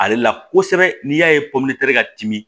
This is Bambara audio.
Ale la kosɛbɛ n'i y'a ye ka timi